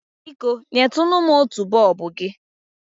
Biko, nyetunu m otu bọọbụ gị?